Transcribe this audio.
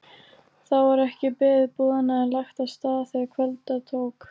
Þá var ekki beðið boðanna en lagt af stað þegar kvölda tók.